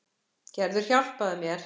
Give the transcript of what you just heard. Gerður, hjálpaðu mér.